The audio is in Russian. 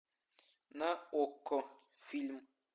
на окко фильм